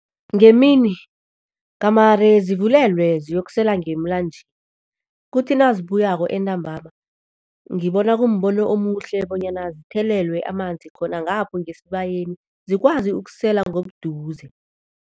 Ngemini gamare zivulelwe ziyokusela ngemlanjeni, kuthi nazibuyako entambama, ngibona kumbono omuhle bonyana zithelelwe amanzi khona ngapho ngesibayeni, zikwazi ukusela ngobuduze.